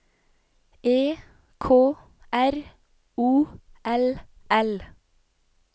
E K R O L L